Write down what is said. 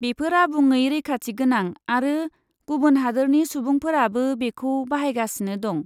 बेफोर आबुङै रैखाथिगोनां आरो गुबुन हादोरनि सुबुंफोराबो बेखौ बाहायगासिनो दं।